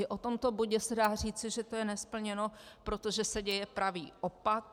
I o tomto bodě se dá říci, že to je nesplněno, protože se děje pravý opak.